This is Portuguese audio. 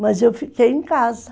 Mas eu fiquei em casa.